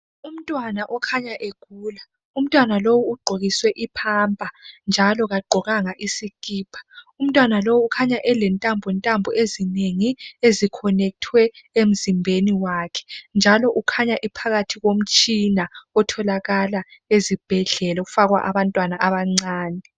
Umntwana okhanya egula umtwana lo ugqokiswe I pamper njalo kagqokanga isikipa umntwana ukhanya elentambontambo ezinengi ezikhonekhithwe emzimbeni wakhe njalo ukhanya ephakathi komtshina otholakala ezibhedlela owokufakwa abantwana abancane